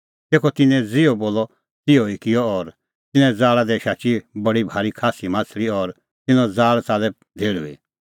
तेखअ तिन्नैं ज़िहअ बोलअ तिहअ ई किअ और तिन्नें ज़ाल़ा दी शाची बडी भारी खास्सी माह्छ़ली और तिन्नें ज़ाल़ च़ाल्लै धेहल़ुई